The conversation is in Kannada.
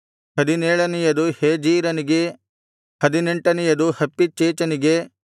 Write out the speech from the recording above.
ಹದಿನೇಳನೆಯದು ಹೇಜೀರನಿಗೆ ಹದಿನೆಂಟನೆಯದು ಹಪ್ಪಿಚ್ಚೇಚನಿಗೆ